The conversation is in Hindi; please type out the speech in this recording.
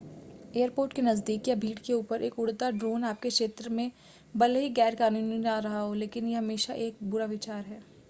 एयरपोर्ट के नज़दीक या भीड़ के ऊपर एक उड़ता हुआ ड्रोन आपके क्षेत्र में भले ही गैर-कानूनी न रहा हो लेकिन हमेशा यह एक बुरा विचार है